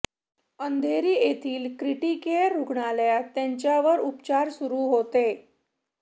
अंधेरी येथील क्रिटीकेअर रुग्णालयात त्यांच्यावर उपचार सुरू होते